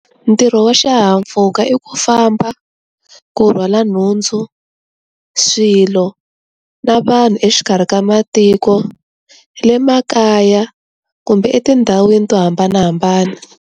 Ntirho wa xihahampfhuka i ku famba, ku rhwala nhundzu, swilo, na vanhu exikarhi ka matiko, le makaya kumbe etindhawini to hambanahambana.